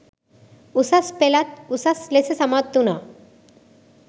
උසස් පෙළත් උසස් ලෙස සමත් වුණා.